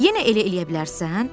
Yenə elə eləyə bilərsən?